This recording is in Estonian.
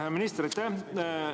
Hea minister, aitäh!